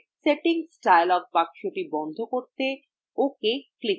settings dialog box বন্ধ করতে ok click করুন